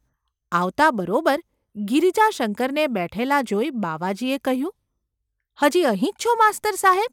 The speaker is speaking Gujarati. આવતાં બરોબર ગિરિજાશંકરને બેઠેલા જોઈ બાવાજીએ કહ્યું : ‘હજી અહીં જ છો, માસ્તર સાહેબ?